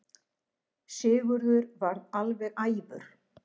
Sigurður varð alveg æfur.